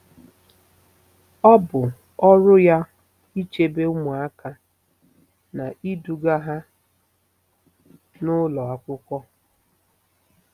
Ọ bụ ọrụ ya ichebe ụmụaka na iduga ha n'ụlọ akwụkwọ.